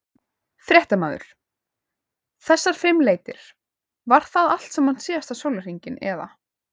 Fréttamaður: Þessar fimm leitir, var það allt saman síðasta sólarhring eða?